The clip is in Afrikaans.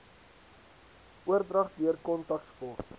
oordrag deur kontaksport